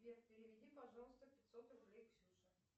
сбер переведи пожалуйста пятьсот рублей ксюше